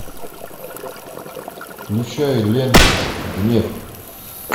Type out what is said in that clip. включай ленту гнев